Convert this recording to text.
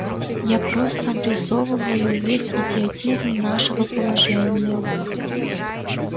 я просто обрисовываю весь идиотизм нашего положения